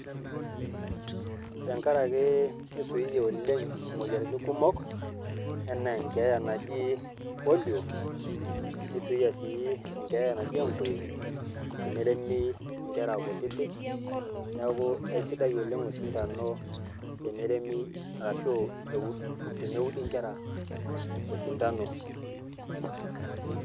Te nkaraki kizuia ooleng moyiaritin kumok ena ekeeya naji polio nisuia si ekeeya naji enkoe teneremi nkera kutitik. Neaku isidai oooleng osidano teneremi arashu eud teneudi nkera osindano.